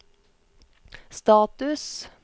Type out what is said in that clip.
status